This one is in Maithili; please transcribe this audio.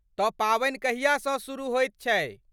तऽ पावनि कहियासँ शुरू होयत छै?